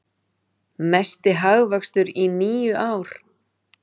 Mesti hagvöxtur í níu ár